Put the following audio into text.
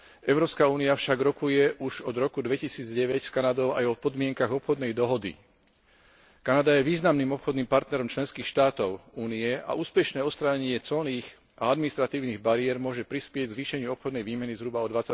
Európska únia však rokuje už od roku 2009 s Kanadou aj o podmienkach obchodnej dohody. Kanada je významným obchodným partnerom členských štátov Únie a úspešné odstránenie colných a administratívnych bariér môže prispieť k zvýšeniu obchodnej výmeny zhruba o